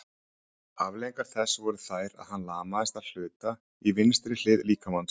afleiðingar þess voru þær að hann lamaðist að hluta í vinstri hlið líkamans